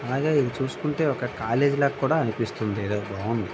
అదే చూస్తుంటే ఒక కాలేజీ లా కూడా అనిపిస్తున్నది ఇది ఏదో బాగుంది.